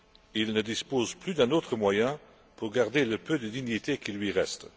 Il ne dispose plus d'un autre moyen pour garder le peu de dignité qui lui reste.